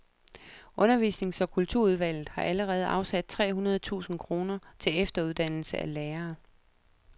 Undervisnings og kulturudvalget har allerede afsat tre hundrede tusind kroner til efteruddannelse af lærerne.